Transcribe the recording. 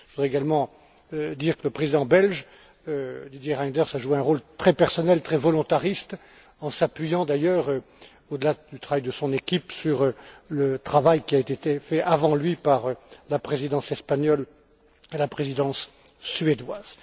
Je voudrais également dire que le président belge, Didier Reynders, a joué un rôle très personnel, très volontariste, en s'appuyant d'ailleurs, au delà du travail de son équipe, sur le travail qui a été fait avant lui par la Présidence espagnole et la Présidence suédoise.